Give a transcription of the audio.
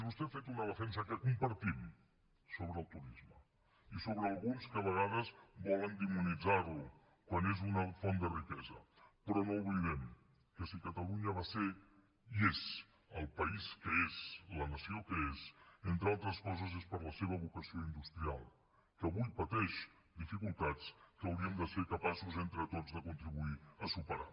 vostè ha fet una defensa que compartim sobre el turisme i sobre alguns que a vegades volen demonitzar lo quan és una font de riquesa però no oblidem que si catalunya va ser i és el país que és la nació que és entre altres coses és per la seva vocació industrial que avui pateix dificultats que hauríem de ser capaços entre tots de contribuir a superar